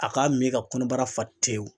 A k'a min ka kɔnɔbara fa tewu